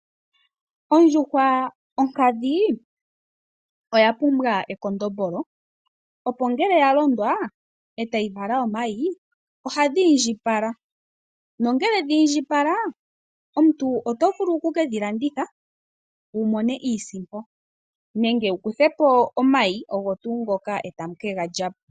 Ondjuhwa onkadhi oya pumbwa ekondombolo opo ngele yalondwa etayi vala omayi ohadhi indjipala nongele dhiindjipala omuntu oto vulu oku kedhi landitha wu mone iisimpo nenge wuku thepo omayi oga tuu ngoka eta mu kega lyapo.